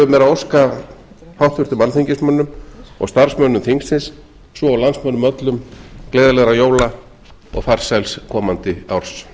mér að óska háttvirtum alþingismönnum og starfsmönnum þingsins svo og landsmönnum öllum gleðilegra jóla og farsæls komandi árs